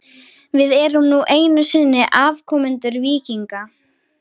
Við erum nú einu sinni afkomendur víkinga.